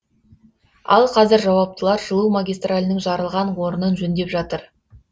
ал қазір жауаптылар жылу магистралінің жарылған орнын жөндеп жатыр